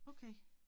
Okay